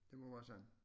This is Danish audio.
Det må være sådan